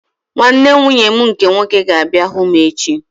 Nwanne nwunye m nke nwoke ga-abịa hụ m echi